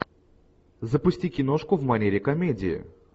запусти киношку в манере комедия